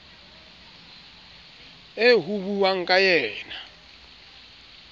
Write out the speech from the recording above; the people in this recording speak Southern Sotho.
eo ho buuwang ka yena